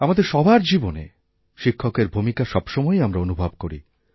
আমাদের সবার জীবনে শিক্ষকের ভূমিকা সবসময়ই আমরা অনুভব করি